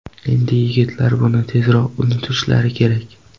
Endi yigitlar buni tezroq unutishlari kerak.